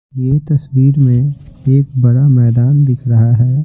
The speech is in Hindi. ये तस्वीर में एक बड़ा मैदान दिखाई दे रहा है।